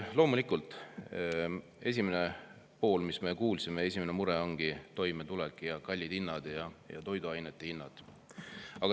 Loomulikult, esimene asi, mis me kuulsime, esimene mure oligi toimetulek ning kallid hinnad, ka toiduainete hinnad.